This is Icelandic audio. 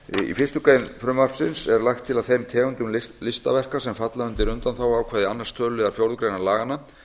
í fyrstu grein frumvarpsins er lagt til að þeim tegundum listaverka sem falla undir undanþáguákvæði annars töluliðar fjórðu grein laganna